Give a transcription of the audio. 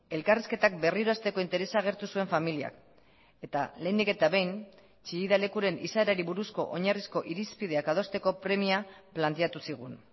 elkarrizketak berriro hasteko interesa agertu zuen familiak eta lehenik eta behin chillida lekuren izaerari buruzko oinarrizko irizpideak adosteko premia planteatu zigun